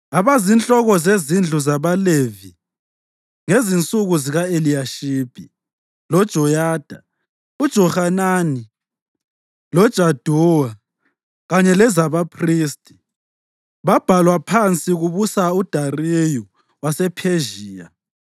Abazinhloko zezindlu zabaLevi ngezinsuku zika-Eliyashibi, loJoyada, uJohanani loJaduwa, kanye lezabaphristi, babhalwa phansi kubusa uDariyu wasePhezhiya.